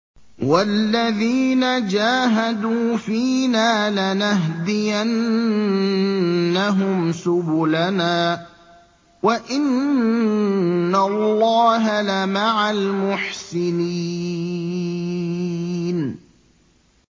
وَالَّذِينَ جَاهَدُوا فِينَا لَنَهْدِيَنَّهُمْ سُبُلَنَا ۚ وَإِنَّ اللَّهَ لَمَعَ الْمُحْسِنِينَ